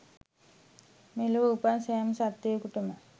මෙලොව උපන් සෑම සත්ත්වයකුටම